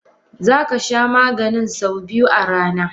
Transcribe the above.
Zakasha Maganin sau biyu a rana.